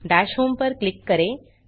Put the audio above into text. दश होम पर क्लिक करें